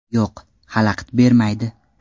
Yo‘q, xalaqit bermaydi.